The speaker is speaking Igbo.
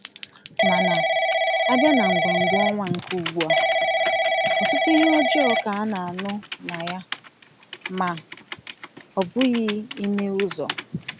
Màna, a bịa n’egwè̩mgwè̩ ọnwa nke ugbua, ọtụtụ ihe ọjọọ ka a na-anụ na ya, ma ọ bụghị ime ụzọ